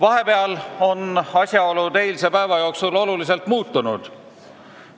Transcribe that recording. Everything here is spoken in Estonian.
Eilse päeva jooksul asjaolud oluliselt muutusid.